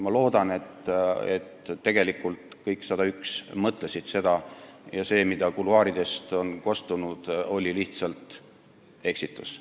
Ma loodan, et tegelikult kõik 101 mõtlesid seda ja et see, mis kuluaaridest on kostnud, oli lihtsalt eksitus.